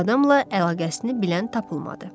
Bu adamla əlaqəsini bilən tapılmadı.